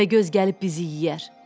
Təpəgöz gəlib bizi yeyər.